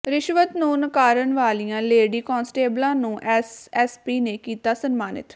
ਰਿਸ਼ਵਤ ਨੂੰ ਨਕਾਰਨ ਵਾਲੀਆਂ ਲੇਡੀ ਕਾਂਸਟੇਬਲਾਂ ਨੂੰ ਐਸਐਸਪੀ ਨੇ ਕੀਤਾ ਸਨਮਾਨਿਤ